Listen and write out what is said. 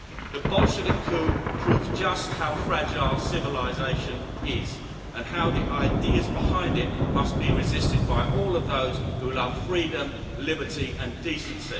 The Bolshevik coup proves just how fragile civilisation is and how the ideas behind it must be resisted by all of those who love freedom, liberty and decency.